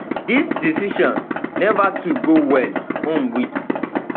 dis decision neva too go well um wit